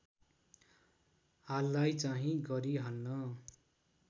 हाललाई चाहिँ गरिहाल्न